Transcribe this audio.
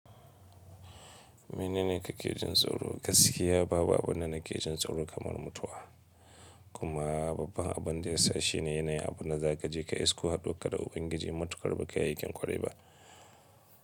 Mene ne kake jin tsoro? Gaskiya babu abunda nake jin tsoro kamar mutuwa, kuma babban abinda ya sa shine yanayin abunda za ka je ka isku haɗu warka da Ubangiji matuƙar bakayi aikin ƙwarai ba.